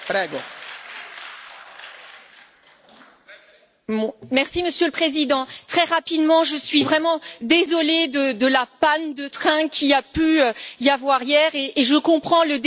Monsieur le Président, très rapidement, je suis vraiment désolée de la panne de train qu'il y a eu hier et je comprends le désagrément pour les collègues et surtout pour l'ensemble des collaborateurs.